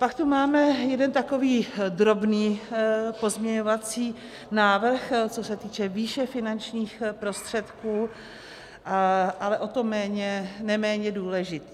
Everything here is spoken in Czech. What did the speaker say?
Pak tu máme jeden takový drobný pozměňovací návrh, co se týče výše finančních prostředků, ale o to neméně důležitý.